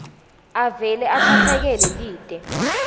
avele atsatsekele lite